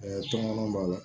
tɔmɔnɔ b'a la